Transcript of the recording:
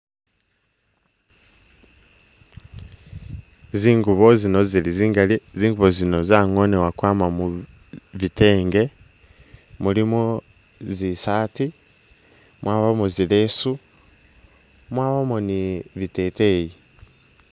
Zingubo zino zili zingali, zingubo zino zangonebwa kwama mu gitenge ,mulimo zi saati ,mwabamo zi leesu, mwabamo ni biteteyi